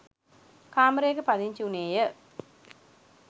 කාමරයක පදිංචි උනේය.